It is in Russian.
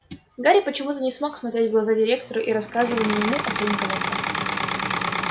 гарри почему-то не мог смотреть в глаза директору и рассказывал не ему а своим коленкам